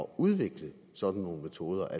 udvikle sådan nogle metoder at